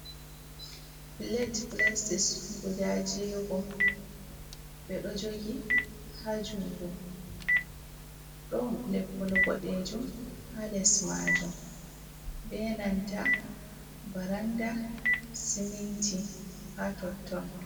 Pilet pilastik guda jego ɓe ɗo jogi ha jungo ɗon leppol boɗejum ha les majum be nanta baranda siminti ha tonton.